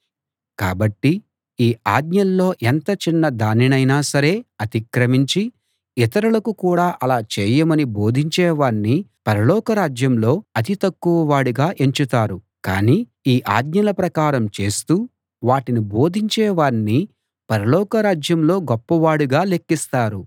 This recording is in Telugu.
కాబట్టి ఈ ఆజ్ఞల్లో ఎంత చిన్న దానినైనా సరే అతిక్రమించి ఇతరులకు కూడా అలా చేయమని బోధించేవాణ్ణి పరలోకరాజ్యంలో అతి తక్కువ వాడుగా ఎంచుతారు కానీ ఈ ఆజ్ఞల ప్రకారం చేస్తూ వాటిని బోధించేవాణ్ణి పరలోక రాజ్యంలో గొప్పవాడుగా లెక్కిస్తారు